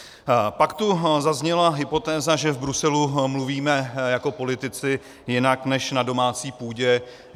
Pak tu zazněla hypotéza, že v Bruselu mluvíme jako politici jinak než na domácí půdě.